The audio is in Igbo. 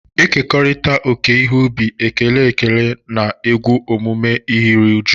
Ekekọrịta oke ihe ubi, ekele ekele na egwu emume Iri ji.